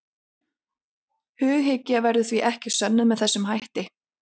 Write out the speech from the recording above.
Hughyggja verður því ekki sönnuð með þessum hætti.